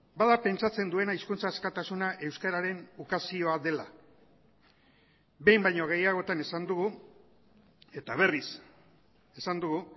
bada pentsatzen duena hizkuntza askatasuna euskararen ukazioa dela behin baino gehiagotan esan dugu eta berriz esan dugu